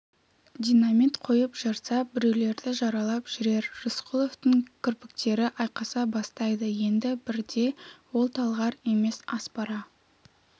динамит қойып жарса біреулерді жаралап жүрер рысқұловтың кірпіктері айқаса бастайды енді бірде ол талғар емес аспара